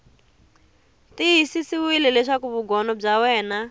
tiyisisiwile leswaku vugono bya wena